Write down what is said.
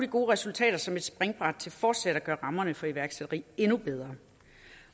gode resultater som et springbræt til fortsat at gøre rammerne for iværksætteri endnu bedre